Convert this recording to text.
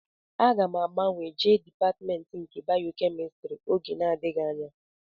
Aga m agbanwe jee dịpatmentị nke bayokemịstrị oge na-adịghị anya